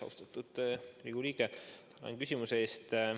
Austatud Riigikogu liige, tänan küsimuse eest!